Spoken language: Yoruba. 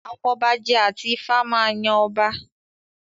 Afọbajẹ àti Ifá máa yan ọba